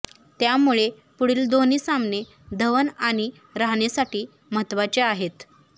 त्यामुळे पुढील दोन्ही सामने धवन आणि रहाणेसाठी महत्त्वाचे आहेत